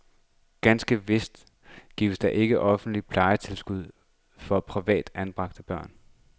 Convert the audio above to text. Ganske vist gives der ikke offentligt plejetilskud for privat anbragte plejebørn.